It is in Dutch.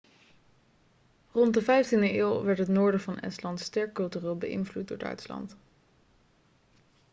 rond de vijftiende eeuw werd het noorden van estland sterk cultureel beïnvloed door duitsland